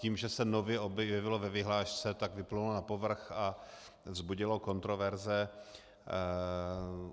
Tím, že se nově objevilo ve vyhlášce, tak vyplynulo na povrch a vzbudilo kontroverze.